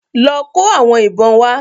Lọ kó àwọn ìbọn wá.